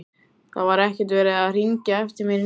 Það var ekkert verið að hringja eftir mér í nótt.